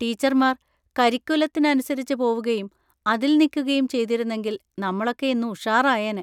ടീച്ചർമാർ കരിക്കുലത്തിന് അനുസരിച്ച് പോവുകയും അതിൽ നിക്കുകയും ചെയ്തിരുന്നെങ്കിൽ നമ്മളൊക്കെ ഇന്ന് ഉഷാറായേനേ.